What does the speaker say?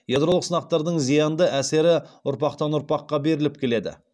ядролық сынақтардың зиянды әсері ұрпақтан ұрпаққа беріліп келеді